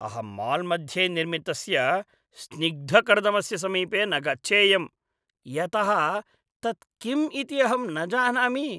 अहं माल्मध्ये निर्मितस्य स्निग्धकर्दमस्य समीपे न गच्छेयम्, यतः तत् किम् इति अहं न जानामि।